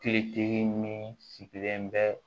Te tigi min sigilen bɛ